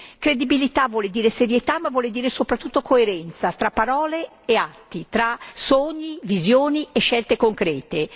credibilità vuol dire serietà, ma vuol dire soprattutto coerenza tra parole e atti, tra sogni, visioni e scelte concrete.